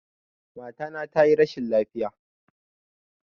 Mata na tayi rashin lafiya